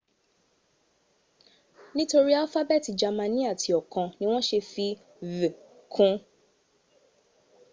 nitori alfabeeti jamani ati okan ni won se fi õ/õ” kun